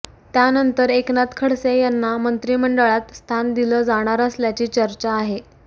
त्यानंतर एकनाथ खडसे यांना मंत्रिमंडळात स्थान दिलं जाणार असल्याची चर्चा आहे